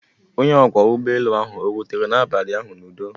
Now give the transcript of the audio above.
Onye ọkwọ ụgbọelu ahụ ọ rutere n'abalị ụnyaahụ n'udo?